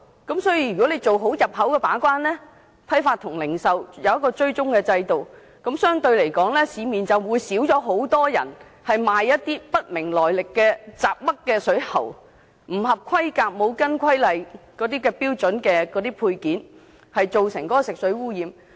政府如能做好進口把關，設立批發和零售追蹤制度，市面便相對較少人售賣品牌來歷不明的水喉，以及不合規格及標準的配件，有助減少食水污染。